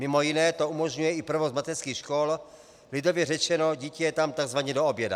Mimo jiné to umožňuje i provoz mateřských škol, lidově řečeno, dítě je tam tzv. do oběda.